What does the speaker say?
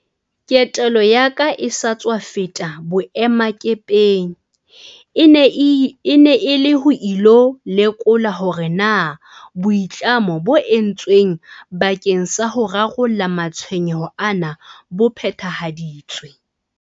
Ketelo ya ka e sa tswa feta boemakepeng e ne e le ho ilo lekola hore na boitlamo bo entsweng bakeng sa ho rarolla matshwenyeho ana bo phethahaditswe.